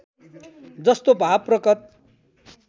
जस्तो भाव प्रकट